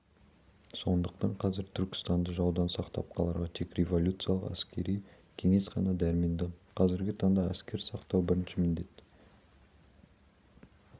сондықтан қазір түркістанды жаудан сақтап қаларға тек революциялық әскери кеңес қана дәрменді қазіргі таңда әскер сақтау бірінші міндет